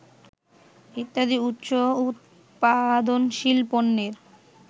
ইত্যাদি উচ্চ উত্পাদনশীল পণ্যের